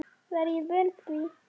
Var ég vön því?